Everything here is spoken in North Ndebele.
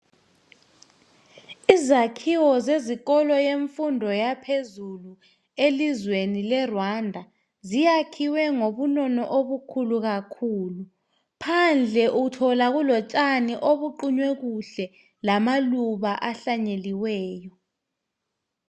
Izakhiwo zezikolo zemfundo yaphezulu elizweni le Rwanda ziyakhiwe ngobunono obukhulu phandle uthola kulotshani obuqunywe kuhle lamaluba ahlanyeliweyo.